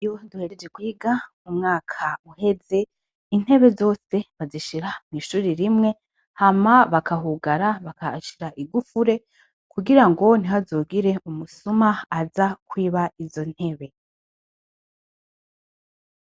Iyo duhejeje kwiga umwaka uheze intebe zose bazishira mu ishure rimwe, hama bakahugara bakahashira igufure kugira ngo ntihagire umusuma aza kwiba izo intebe.